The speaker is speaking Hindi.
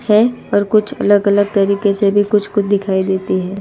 है और कुछ अलग अलग तरीके से भी कुछ कुछ दिखाई देती है।